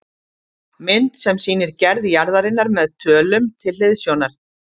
Mynd sem sýnir gerð jarðarinnar með tölum til hliðsjónar